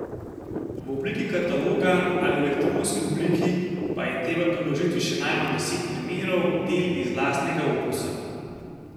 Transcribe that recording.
V obliki kataloga ali v elektronski obliki pa je treba priložiti še najmanj deset primerov del iz lastnega opusa.